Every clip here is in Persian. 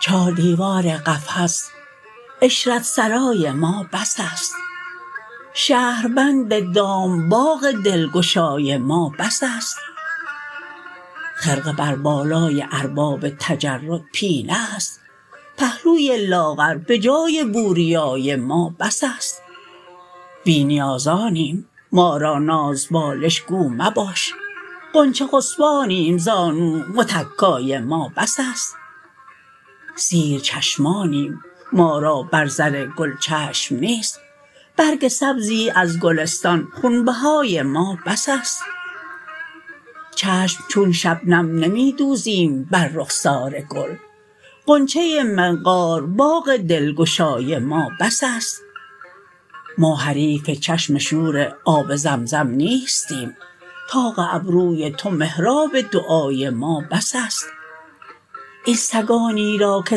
چار دیوار قفس عشرت سرای ما بس است شهربند دام باغ دلگشای ما بس است خرقه بر بالای ارباب تجرد پینه است پهلوی لاغر به جای بوریای ما بس است بی نیازانیم ما را ناز بالش گو مباش غنچه خسبانیم زانو متکای ما بس است سیر چشمانیم ما را بر زر گل چشم نیست برگ سبزی از گلستان خونبهای ما بس است چشم چون شبنم نمی دوزیم بر رخسار گل غنچه منقار باغ دلگشای ما بس است ما حریف چشم شور آب زمزم نیستیم طاق ابروی تو محراب دعای ما بس است این سگانی را که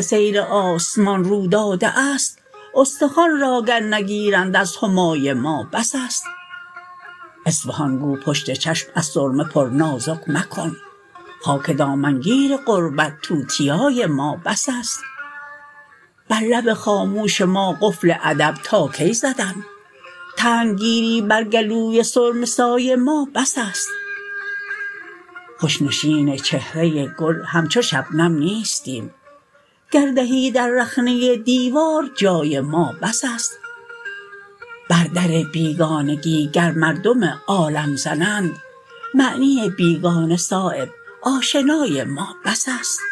سیر آسمان رو داده است استخوان را گر نگیرند از همای ما بس است اصفهان گو پشت چشم از سرمه پر نازک مکن خاک دامنگیر غربت توتیای ما بس است بر لب خاموش ما قفل ادب تا کی زدن تنگ گیری بر گلوی سرمه سای ما بس است خوش نشین چهره گل همچو شبنم نیستیم گر دهی در رخنه دیوار جای ما بس است بر در بیگانگی گر مردم عالم زنند معنی بیگانه صایب آشنای ما بس است